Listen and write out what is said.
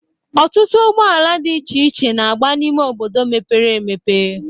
Ọtụtụ ụgbọala dị iche n'agba n'ime obodo mepere emepe